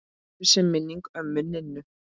Blessuð sé minning ömmu Ninnu.